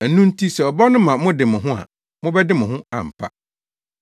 Ɛno nti sɛ ɔba no ma mode mo ho a mobɛde mo ho ampa.